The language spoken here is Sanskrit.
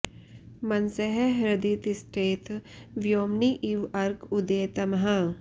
मनसः हृदि तिष्ठेत व्योम्नि इव अर्क उदये तमः